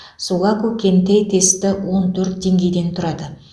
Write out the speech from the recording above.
сугаку кэнтэй тесті он төрт деңгейден тұрады